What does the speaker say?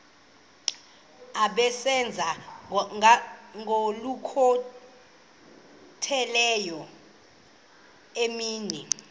asebenza ngokokhutheleyo imini